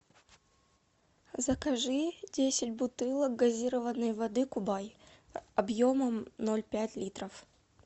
закажи десять бутылок газированной воды кубай объемом ноль пять литров